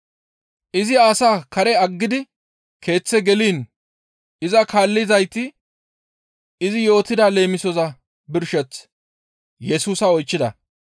Izi asaa karen aggidi keeththe geliin iza kaallizayti izi yootida leemisoza birsheth Yesusa oychchida.